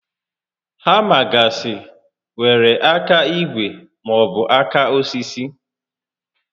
Hama gasị nwèrè áká ígwè maọbụ áká osisi